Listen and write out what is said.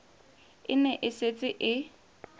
e ne e setse e